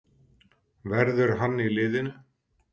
Verður hann í liðinu?